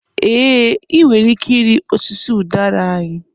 Ee, ị nwere ike ịrị osisi udara anyị.